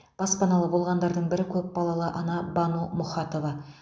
баспаналы болғандардың бірі көпбалалы ана бану мұхатова